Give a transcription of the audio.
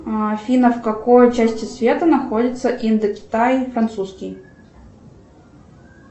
афина в какой части света находится индокитай французский